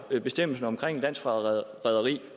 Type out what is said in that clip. bestemmelsen om landsforræderi